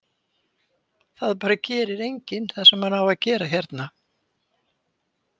Það bara gerir enginn það sem hann á að gera hérna.